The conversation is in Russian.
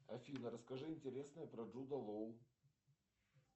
афина расскажи интересное про джуда лоу